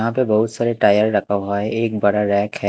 यहां पे बहुत सारे टायर रखा हुआ है एक बड़ा रैंक है।